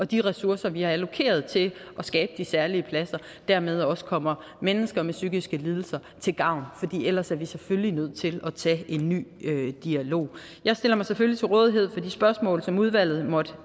de ressourcer vi har allokeret til at skabe de særlige pladser dermed også kommer mennesker med psykiske lidelser til gavn for ellers er vi selvfølgelig nødt til at tage en ny dialog jeg stiller mig selvfølgelig til rådighed for de spørgsmål som udvalget måtte